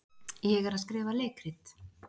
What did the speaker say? Ég er að skrifa leikrit.